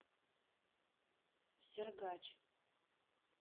сергач